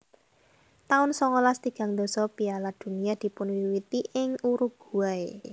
taun songolas tigang dasa Piala Dunia dipunwiwiti ing Uruguay